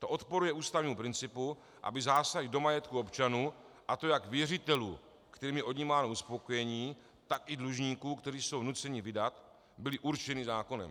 To odporuje ústavnímu principu, aby zásahy do majetku občanů, a to jak věřitelů, kterým je odnímáno uspokojení, tak i dlužníků, kteří jsou nuceni vydat, byly určeny zákonem.